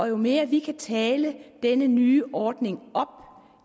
jo mere vi kan tale denne nye ordning op